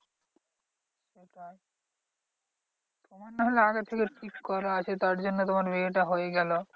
তোমার নাহলে আগে থেকে fixed করা আছে তারজন্য তোমার বিয়েটা হয়ে গেলো।